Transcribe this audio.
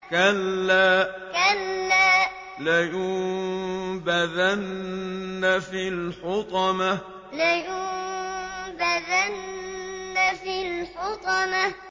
كَلَّا ۖ لَيُنبَذَنَّ فِي الْحُطَمَةِ كَلَّا ۖ لَيُنبَذَنَّ فِي الْحُطَمَةِ